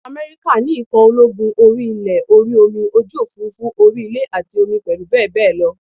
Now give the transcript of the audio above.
Ìlú America ní ikọ̀ ológun orí ilẹ̀, orí omi, ojú òfuurufú, orí ilẹ̀ àti omi pẹ̀lú bèbè omi